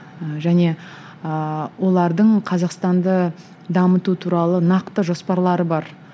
және ыыы олардың қазақстанды дамыту туралы нақты жоспарлары бар